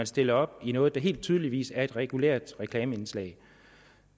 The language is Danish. stiller op i noget der helt tydeligvis er et regulært reklameindslag